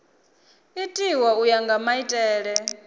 itiwa u ya nga maitele